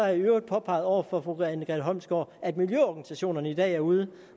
jeg i øvrigt påpeget over for fru anne grete holmsgaard at miljøorganisationerne i dag er ude